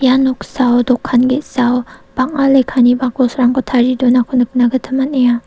ia noksao dokan ge·sao bang·a lekkani bakosrangko tarie donako nikna gita man·enga.